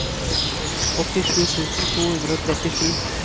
åttisju tusen to hundre og trettisju